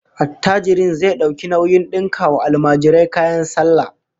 Attajirin zai dauki nauyin dinka wa almajirai kayan sallah